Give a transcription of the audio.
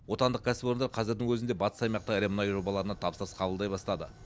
отандық кәсіпорындар қазірдің өзінде батыс аймақта ірі мұнай жобаларына тапсырыс қабылдай бастады